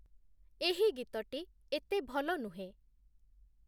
ଏହି ଗୀତଟି ଏତେ ଭଲ ନୁହେଁ